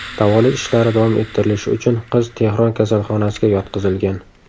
Davolash ishlari davom ettirilishi uchun qiz Tehron kasalxonasiga yotqizilgan.